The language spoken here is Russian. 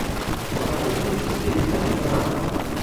покажи фильм в стилистике драмы